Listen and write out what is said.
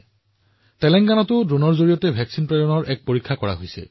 তেলেংগানাত ড্ৰোনৰ জৰিয়তে প্ৰতিষেধক যোগানৰ প্ৰয়াসো কৰা হৈছে